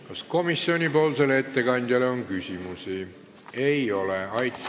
Kas komisjoni ettekandjale on küsimusi?